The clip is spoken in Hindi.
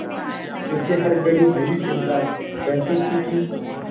उसे हर घड़ी यही चिंता रहती थी कि